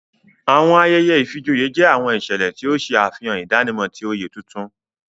Awọn ayẹyẹ ìfijoyé jẹ awọn iṣẹlẹ ti o ṣe afihan idanimọ ti oyé tuntun.